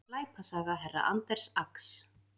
Glæpasaga herra Anders Ax